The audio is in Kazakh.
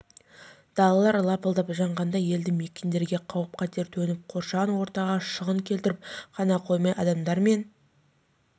далалар лапылдап жанғанда елді мекендерге қауіп-қатер төніп қоршаған ортаға шығын келтіріп қана қоймай адамдар мен